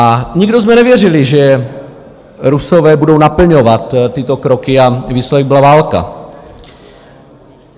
A nikdo jsme nevěřili, že Rusové budou naplňovat tyto kroky, a výsledek byla válka.